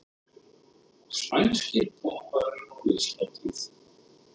Spænskir popparar á listahátíð